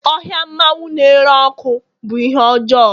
ohia mmanwu na-ere ọkụ bụ ihe ọjọọ